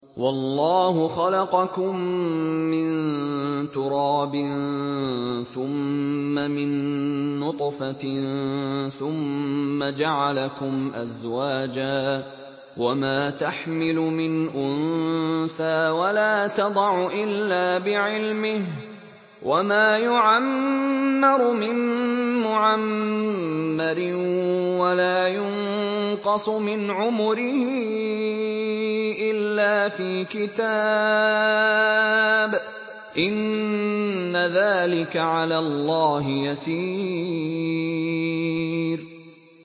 وَاللَّهُ خَلَقَكُم مِّن تُرَابٍ ثُمَّ مِن نُّطْفَةٍ ثُمَّ جَعَلَكُمْ أَزْوَاجًا ۚ وَمَا تَحْمِلُ مِنْ أُنثَىٰ وَلَا تَضَعُ إِلَّا بِعِلْمِهِ ۚ وَمَا يُعَمَّرُ مِن مُّعَمَّرٍ وَلَا يُنقَصُ مِنْ عُمُرِهِ إِلَّا فِي كِتَابٍ ۚ إِنَّ ذَٰلِكَ عَلَى اللَّهِ يَسِيرٌ